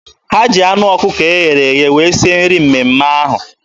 Ha ji anụ ọkụkọ eghere eghe wee sie nri mmemme ahụ.